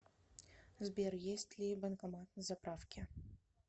сбер есть ли банкомат на заправке